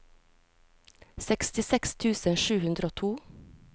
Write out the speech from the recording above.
sekstiseks tusen sju hundre og to